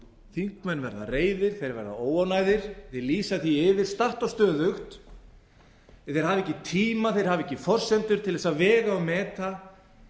þingmenn verða reiðir þeir verða óánægðir þeir lýsa því yfir statt og stöðugt að þeir hafi ekki tíma þeir hafi ekki forsendur til að vega og meta